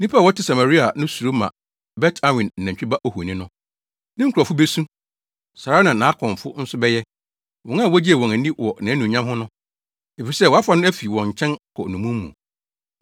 Nnipa a wɔte Samaria no suro ma Bet-Awen nantwi ba ohoni no. Ne nkurɔfo besu. Saa ara na nʼakɔmfo nso bɛyɛ, wɔn a wogyee wɔn ani wɔ nʼanuonyam ho no. Efisɛ wɔafa no afi wɔn nkyɛn kɔ nnommum mu.